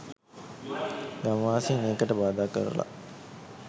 ගම්වාසින් ඒකට බාධා කරල.